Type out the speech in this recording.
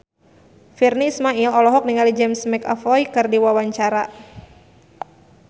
Virnie Ismail olohok ningali James McAvoy keur diwawancara